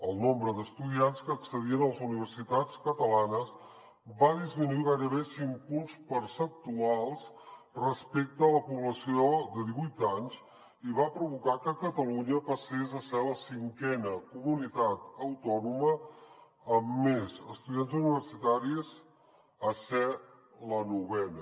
el nombre d’estudiants que accedien a les universitats catalanes va disminuir gairebé cinc punts percentuals respecte a la població de divuit anys i va provocar que catalunya passés de ser la cinquena comunitat autònoma amb més estudiants universitaris a ser la novena